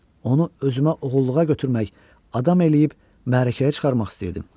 Onu özümə oğulluğa götürmək, adam eləyib, məəlkəyə çıkarmaq istəyirdim.